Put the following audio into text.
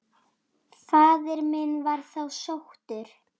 Faðir minn var þá sóttur.